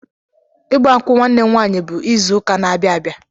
Igbankwụ nwanne m nwaanyị bụ ịzụka na-abịa abịa.